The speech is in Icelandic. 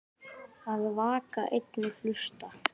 Að vaka einn og hlusta